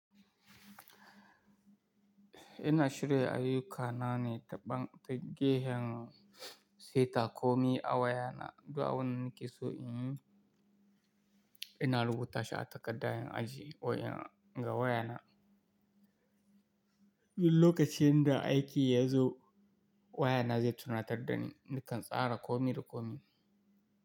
Ina shirin ayyuka na ne daban- ta gehen saita komi a wayana. Du abindanakeso in yi. Ina rubuta sha takaddan aji oya-- ga wayana. Lokacin da aiki ya zo, wayana zai tunatar da ni nakan tsara komi da komi.